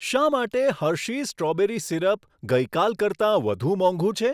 શા માટે Hershey's strawberry syrup ગઈ કાલ કરતાં વધુ મોંઘું છે?